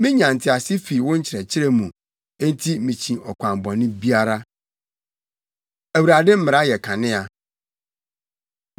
Minya ntease fi wo nkyerɛkyerɛ mu; enti mikyi ɔkwan bɔne biara. Awurade Mmara Yɛ Kanea